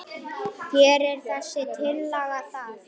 Gerir þessi tillaga það?